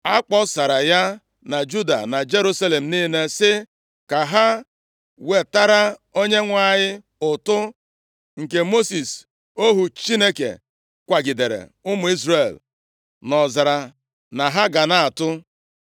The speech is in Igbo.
A kpọsara ya na Juda na Jerusalem niile sị ka ha wetara Onyenwe anyị ụtụ nke Mosis ohu Chineke kwagidere ụmụ Izrel nʼọzara na ha ga na-atụ.